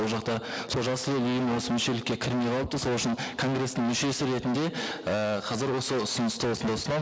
ол жақта сол жасыл ел ұйымы осы мүшелікке кірмей қалыпты сол үшін конгресстің мүшесі ретінде ііі қазір осы ұсынысты осында ұсынамын